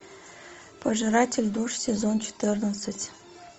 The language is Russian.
пожиратель душ сезон четырнадцать